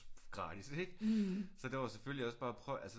Gratis ikke så der var selvfølgelig også bare prøv altså